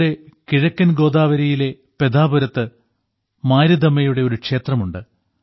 ഇവിടെ കിഴക്കൻ ഗോദാവരിയിലെ പെധാപുരത്ത് മാരിദമ്മയുടെ ഒരു ക്ഷേത്രമുണ്ട്